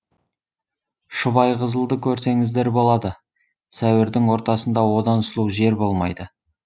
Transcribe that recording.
шұбайқызылды көрсеңіздер болады сәуірдің ортасында одан сұлу жер болмайды